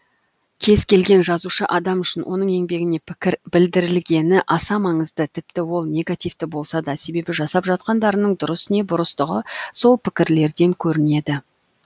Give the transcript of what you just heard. кез келген жазушы адам үшін оның еңбегіне пікір білдірілгені аса маңызды тіпті ол негативті болса да себебі жасап жатқандарының дұрыс не бұрыстығы сол пікірлерден көрінеді